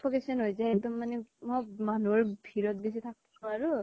suffocation হৈ যায় একদম মানে । মই মানুহৰ ভিৰত বেছি থাকব নোৱৰো